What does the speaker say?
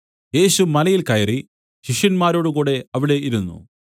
യേശു മലയിൽ കയറി ശിഷ്യന്മാരോടുകൂടെ അവിടെ ഇരുന്നു